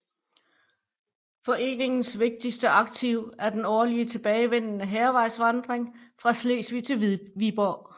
Foreningens vigtigste aktivitet er den årligt tilbagevendende Hærvejsvandring fra Slesvig til Viborg